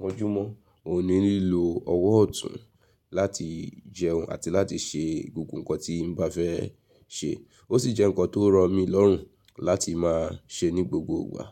mọ́júmọ́, mo ní lílò ọwọ́ ọ̀tún láti jẹun àti láti ṣe gbogbo ǹkan tí mo bá fẹ́ ṣe. Ó sì jẹ́ ǹkan tó rọ̀ mi lọ́rùn láti máa ṣe ní gbogbo ìgbà.